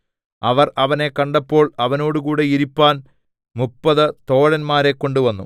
അവർ അവനെ കണ്ടപ്പോൾ അവനോടുകൂടെ ഇരിപ്പാൻ മുപ്പത് തോഴന്മാരെ കൊണ്ടുവന്നു